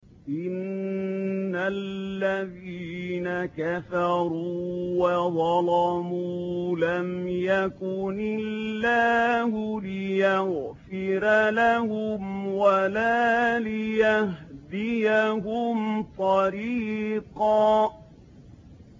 إِنَّ الَّذِينَ كَفَرُوا وَظَلَمُوا لَمْ يَكُنِ اللَّهُ لِيَغْفِرَ لَهُمْ وَلَا لِيَهْدِيَهُمْ طَرِيقًا